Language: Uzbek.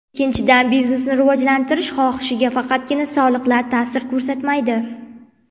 Ikkinchidan, biznesni rivojlantirish xohishiga faqatgina soliqlar ta’sir ko‘rsatmaydi.